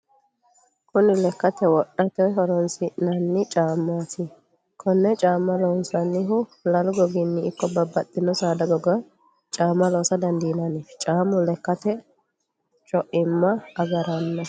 kuni lekkate wodhate horonsi'nanni camati. konne caamma loonsannihu lalu goginni ikko babbaxxitinno saada goginni caama loosa dandinanni. caamu leekate co'imma agaranno.